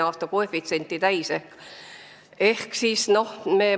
See on lihtne näide.